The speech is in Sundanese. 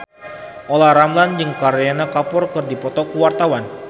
Olla Ramlan jeung Kareena Kapoor keur dipoto ku wartawan